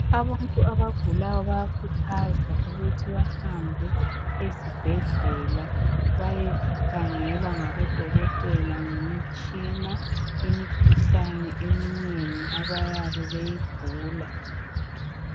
Abantu abagulayo bayakhuthazwa ukuthi bahambe ezibhedlela bayekhangelwa ngabodokotela ngemitshina imikhuhlane eminengi abayabe beyigula.